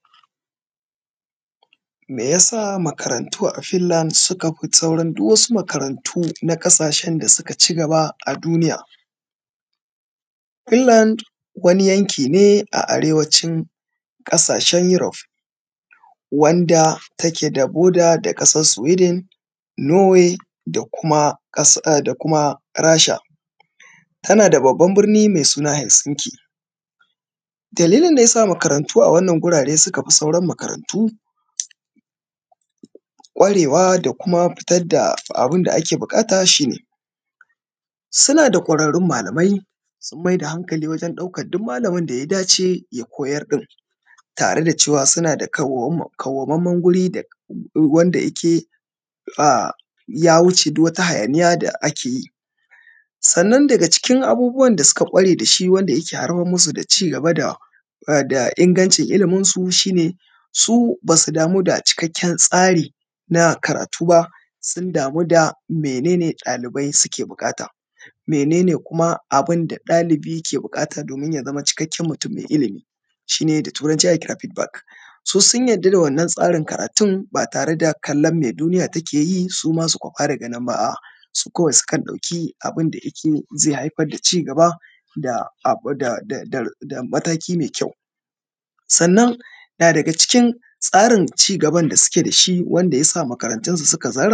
Meyasa makarantu a filan suka fi saurin duk wasu makarantu na ƙasashe da suka ci gaba a duniya? Ilanda wani yanki ne a arewacin ƙasashe yurof wanda take da boda da kasan siwedan nuway da kuma ƙasan da kuma rasha. Tana da babban birni mai suna hiskende dalilin da yasa makarantu a wannan gurare suka fi sauran makarantu kwarewa da kuma fitar da abunda ake buƙata shi ne. Suna da kwararun malamai sun mai da hankali wajen duk malamin da ya dace ya koyar din tare da cewa suna da kwawaman man guri wanda yike a ya wuce duk wani hayaniya da ake yi. Sannan daga cikin abubuwan da suka kware da shi wanda ya haifar musu da ci gaba da ingancin iliminsu shi ne su basu damu da cikakken tsari na karatu ba, sun damu da mene ne ɗalibai suke buƙata? Mene ne kuma abinda ɗalibi yake bukata domin ya zamo cikakken mutum mai ilimi, shi ne da turanci ake kira fid bak, su sun yadda da wannan tsarin karatun ba tare da kallon me duniya take yi suma su kwafa daga nan ba a’a su kawai sukan ɗauki abun da yi ke zai haifar da ci gaba da da mataki mai kyau. Sannan na daga cikin tsarin ci gaban da suke da shi wanda yasa makaratunsu su kai zarra.